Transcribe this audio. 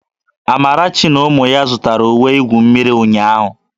Amarachi na ụmụ ya zụtara uwe igwu mmiri ụnyahụ